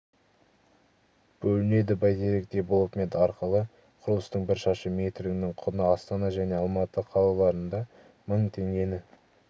бөлінеді бәйтерек девелопмент арқылы құрылыстың бір шаршы метрінің құны астана және алматы қалаларында мың теңгені